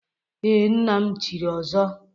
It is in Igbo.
Ee, nna m chiri ọzọ.